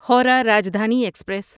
Howrah Rajdhani express